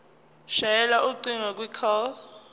shayela ucingo kwicall